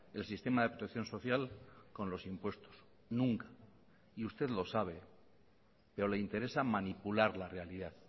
el sistema de protección social con los impuestos nunca y usted lo sabe pero le interesa manipular la realidad